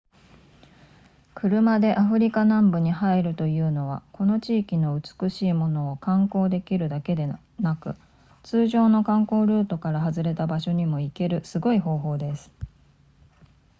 車でアフリカ南部に入るというのはこの地域の美しいものを観光できるだけでなく通常の観光ルートから外れた場所にも行けるすごい方法です